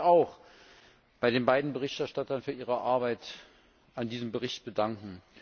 Ich möchte mich auch bei den beiden Berichterstattern für ihre Arbeit an diesem Bericht bedanken.